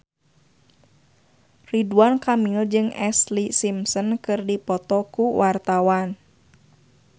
Ridwan Kamil jeung Ashlee Simpson keur dipoto ku wartawan